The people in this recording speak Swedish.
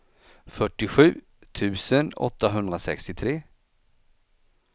fyrtiosju tusen åttahundrasextiotre